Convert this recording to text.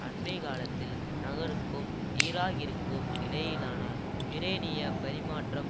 அண்மை காலத்தில் நகருக்கும் ஈராக்கிற்கும் இடையிலான யுரேனிய பரிமாற்றம்